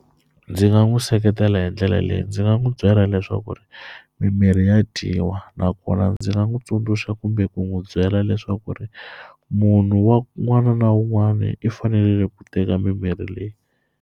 Ndzi nga n'wi seketela hi ndlela leyi ndzi nga n'wi byela leswaku mimirhi ya dyiwa nakona ndzi nga n'wi tsundzuxa kumbe ku n'wi byela leswaku munhu un'wana na un'wana i fanele ku teka mimirhi leyi.